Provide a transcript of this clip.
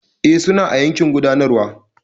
E, suna a yankin gudanarwa.